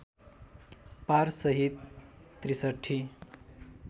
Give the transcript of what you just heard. पार सहित ६३